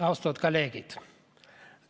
Austatud kolleegid!